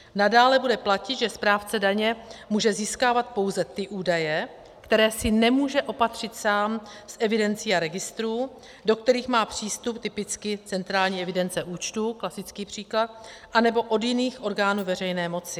Nadále bude platit, že správce daně může získávat pouze ty údaje, které si nemůže opatřit sám z evidencí a registrů, do kterých má přístup, typicky centrální evidence účtů, klasický příklad, anebo od jiných orgánů veřejné moci.